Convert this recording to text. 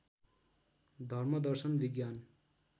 धर्म दर्शन विज्ञान